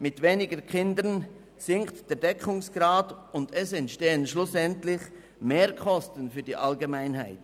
Mit weniger Kindern sinkt der Deckungsgrad, und es entstehen schlussendlich Mehrkosten für die Allgemeinheit.